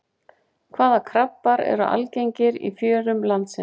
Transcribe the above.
Hvaða krabbar eru algengir í fjörum landsins?